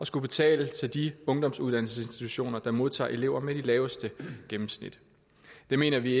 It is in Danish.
skulle betale til de ungdomsuddannelsesinstitutioner der modtager elever med de laveste gennemsnit det mener vi